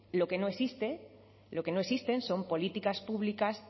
lo que no existe lo que no existen son políticas públicas